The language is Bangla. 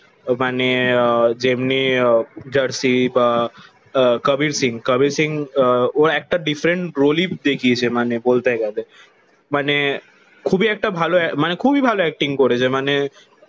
মানে আহ যেমনি আহ জার্সি বা আহ কবির সিং কবির সিং ও একটা ডিফারেন্ট রোলেই দেখিয়েছে মানে বলতে গালে মানে খুব ই একটা ভালো মানে খুবই ভালো এক্টিং করেছে